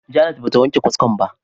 Janet ba ta wanke kaskon ba.